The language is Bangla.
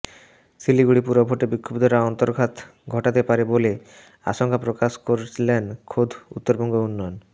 শিলিগুড়ি পুরভোটে বিক্ষুব্ধরা অন্তর্ঘাত ঘটাতে পারে বলে আশঙ্কা প্রকাশ করলেন খোদ উত্তরবঙ্গ উন্নয়ন